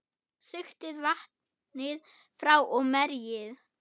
Sigtið vatnið frá og merjið.